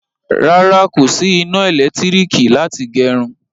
Rárá, kò sí iná elekitiriki láti gerun